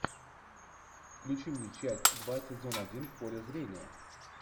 включи мне часть два сезон один в поле зрения